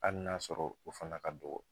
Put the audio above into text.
Hali n'a sɔrɔ o fana ka dɔgɔ